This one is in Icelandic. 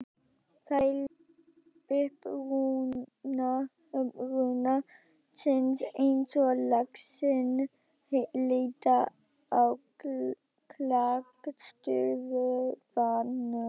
Þeir leita uppruna síns eins og laxinn leitar á klakstöðvarnar.